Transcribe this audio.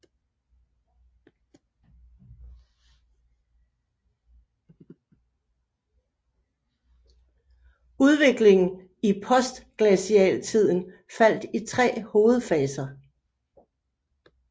Udviklingen i Postglacialtiden faldt i tre hovedfaser